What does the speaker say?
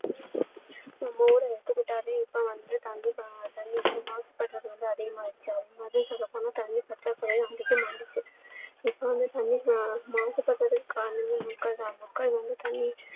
நம்ம ஊரை எடுத்துக்கிட்டாலே இப்போ வந்து தண்ணீர் வந்து மாசுபடுறது வந்து அதிகமா இருக்கு அதே மாதிரி சொல்ல போனா தண்ணீர் பற்றாக்குறையும் அதிகமா இருக்கு இப்போ வந்து தண்ணீர் மாசு படுறதுக்கு காரணமே மக்கள் தான் மக்கள் வந்து தண்ணீர்